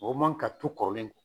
Mɔgɔ man ka to kɔrɔlen